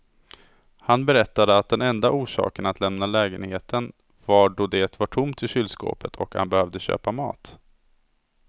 Han berättade att den enda orsaken att lämna lägenheten var då det var tomt i kylskåpet och han behövde köpa mat.